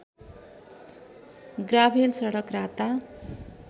gravel सडक राता